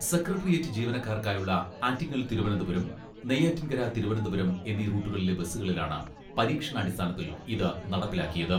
Secretariat ജീവനക്കാർക്കായുള്ള ആറ്റിങ്ങൽ തിരുവനന്തപുരം, നെയ്യാറ്റിൻകര തിരുവനന്തപുരം, എന്നീ റൂട്ടുകളിലെ ബസ്സുകളിലാണ് പരീക്ഷണാടിസ്ഥാനത്തിൽ ഇത് നടപ്പിലാക്കിയത്.